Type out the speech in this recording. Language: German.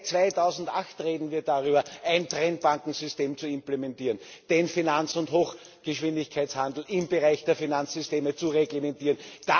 Seit 2008 reden wir darüber, ein Trennbankensystem zu implementieren, den Finanz und Hochgeschwindigkeitshandel im Bereich der Finanzsysteme zu reglementieren.